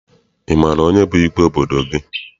Ị maara onye bụ igwe obodo gị?